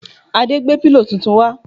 Ade gbé pílò tuntun wá